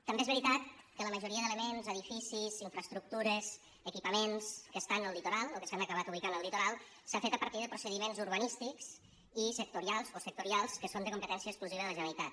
també és veritat que la majoria d’elements edificis infraestructures equipaments que estan al litoral o que s’han acabat ubicant al litoral s’han fet a partir de procediments urbanístics o sectorials que són de competència exclusiva de la generalitat